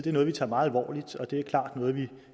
er noget vi tager meget alvorligt og det er klart noget vi